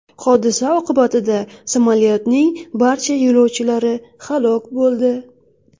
Hodisa oqibatida samolyotning barcha yo‘lovchilari halok bo‘ldi .